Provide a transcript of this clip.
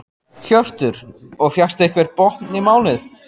Hjörtur: Og fékkstu einhvern botn í málið?